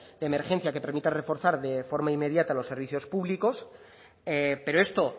de emergencia que permitan reforzar de forma inmediata los servicios públicos pero esto